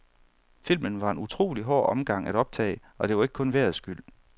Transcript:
Filmen var en utrolig hård omgang at optage, og det var ikke kun vejrets skyld.